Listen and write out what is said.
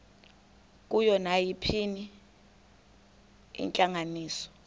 kuyo nayiphina intlanganiso